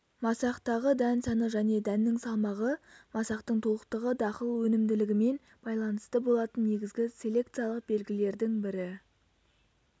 масақтағы дән саны және дәннің салмағы масақтың толықтығы дақыл өнімділігімен байланысты болатын негізгі селекциялық белгілердің бірі